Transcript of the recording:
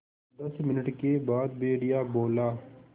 दस मिनट के बाद भेड़िया बोला